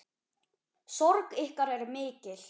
Sorg ykkar er mikil.